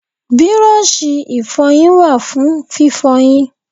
Bírọ́ọ̀ṣì ìfọyín wà fún fífọyín.